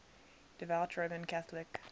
devout roman catholic